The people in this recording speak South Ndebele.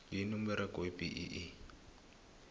yini umberego webee